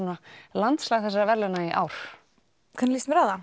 landslag þessara verðlauna í ár hvernig líst mér á það